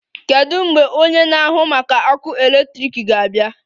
Kedu mgbe onye na-ahụ maka ọkụ eletrik ga-abịa?